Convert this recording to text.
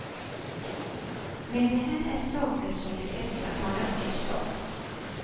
Men det här är saker som de flesta talar tyst om.